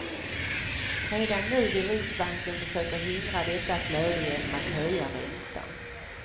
Redan nu vill riksbanken försöka hindra detta flöde genom att höja räntan.